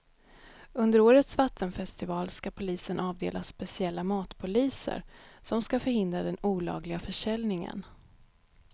Under årets vattenfestival ska polisen avdela speciella matpoliser som ska förhindra den olagliga försäljningen.